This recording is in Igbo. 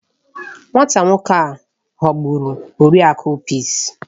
Nwata nwoke a ghọgburu Oriakụ Peace